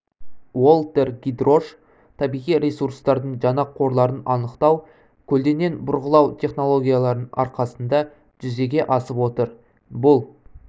уолтер гидрош табиғи ресуртардың жаңа қорларын анықтау көлденең бұрғылау технологияларының арқасында жүзеге асып отыр бұл